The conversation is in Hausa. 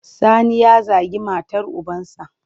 Sani ya zagi matar ubansa.